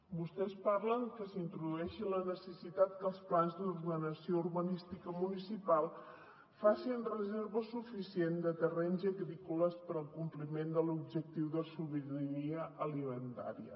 vostès parlen que s’introdueixi la necessitat que els plans d’ordenació urbanística municipal facin reserva suficient de terrenys agrícoles per al compliment de l’objectiu de sobirania alimentària